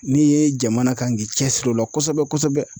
N'i ye jamana kan k'i cɛsiri o la kosɛbɛ kosɛbɛ